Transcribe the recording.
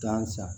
Gan sa